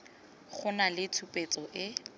go nna le tshupetso e